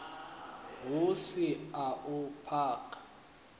hu si a u paka